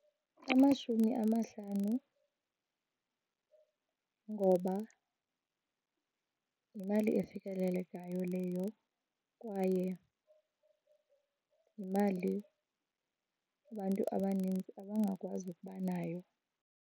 Amashumi amahlanu, ngoba yimali efikelelekayo leyo kwaye yimali abantu abaninzi abangakwazi ukuba nayo.